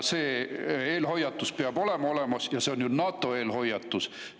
See eelhoiatus peab olemas olema, see on ju NATO eelhoiatus.